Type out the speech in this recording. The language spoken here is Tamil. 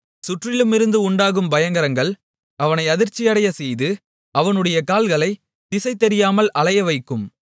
சுற்றிலுமிருந்து உண்டாகும் பயங்கரங்கள் அவனை அதிர்ச்சியடையச்செய்து அவனுடைய கால்களைத் திசைதெரியாமல் அலையவைக்கும்